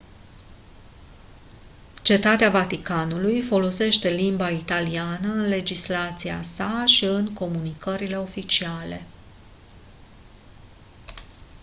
cetatea vaticanului folosește limba italiană în legislația sa și în comunicările oficiale